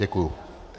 Děkuji.